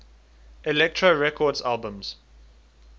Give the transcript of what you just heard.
elektra records albums